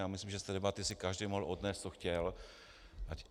Já myslím, že z té debaty si každý mohl odnést, co chtěl.